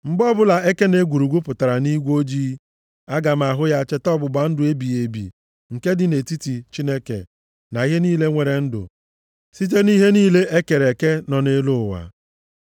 Mgbe ọbụla eke na egwurugwu pụtara nʼigwe ojii, aga m ahụ ya cheta ọgbụgba ndụ ebighị ebi nke dị nʼetiti Chineke na ihe niile nwere ndụ site nʼihe niile e kere eke nọ nʼelu ụwa.”